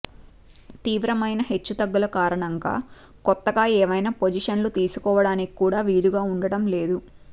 తీవ్రమైన హెచ్చుతగ్గుల కారణంగా కొత్తగా ఏవైనా పొజిషన్లు తీసుకోవడానికి కూడా వీలుగా ఉండటంలేదు